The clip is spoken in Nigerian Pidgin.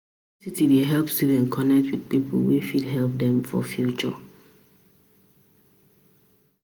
As student wey you be for school, you suppose sabi balance your books and social life.